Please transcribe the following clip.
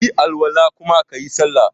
kayi Al-wala kuma kayi sallah.